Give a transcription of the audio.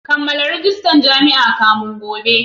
Kammala rajistar jami'a kafin gobe